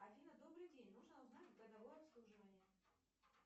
афина добрый день нужно узнать годовое обслуживание